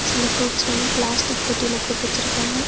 சில ஃப்ரூட்ஸ் வந்து பிளாஸ்டிக் பெட்டில போட்டு வெச்சிருக்காங்க.